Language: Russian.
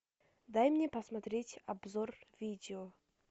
дай мне посмотреть обзор видео